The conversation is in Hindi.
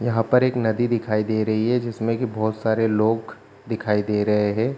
यहाँ पर एक नदी दिखाई दे रही है जिसमे की बोहोत सारे लोग दिखाई दे रहे है।